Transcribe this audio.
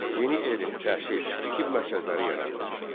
Yeni elm, təhsil, tibb mərkəzləri yarandı.